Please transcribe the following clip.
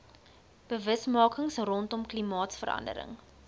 bewusmaking rondom klimaatsverandering